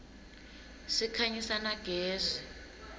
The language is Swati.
sikhanyisa na gezi